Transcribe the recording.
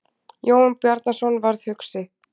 Jón Bjarnason varð hugsi.